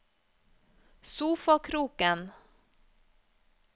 sofakroken